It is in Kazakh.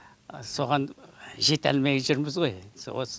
соған жете алмай жүрміз ғой енді осы